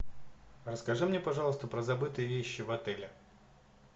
расскажи мне пожалуйста про забытые вещи в отеле